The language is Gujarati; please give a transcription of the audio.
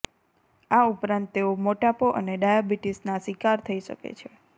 આ ઉપરાંત તેઓ મોટાપો અને ડાયાબિટીસના શિકાર થઇ શકે છે